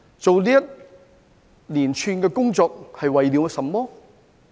進行這一連串工作是為了甚麼？